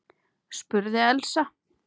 spurði Elsa.